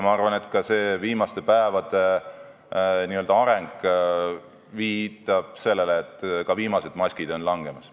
Ma arvan, et viimaste päevade areng viitab sellele, et ka viimased maskid on langemas.